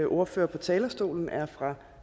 ordfører på talerstolen er fra